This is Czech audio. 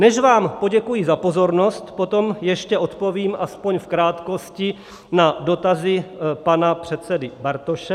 Než vám poděkuji za pozornost, potom ještě odpovím aspoň v krátkosti na dotazy pana předsedy Bartoše.